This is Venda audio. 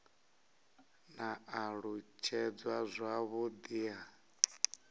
na u alutshedzwa zwavhudi ha